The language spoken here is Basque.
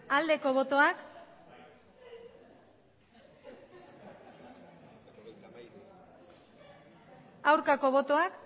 aldeko botoak aurkako botoak